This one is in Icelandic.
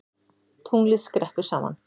Tunglið skreppur saman